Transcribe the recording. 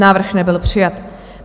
Návrh nebyl přijat.